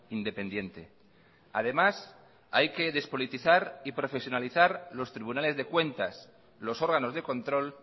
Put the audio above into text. independiente además hay que despolitizar y profesionalizar los tribunales de cuentas los órganos de control